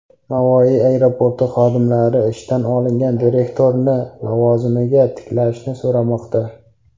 Navoiy aeroporti xodimlari ishdan olingan direktorni lavozimiga tiklashni so‘ramoqda.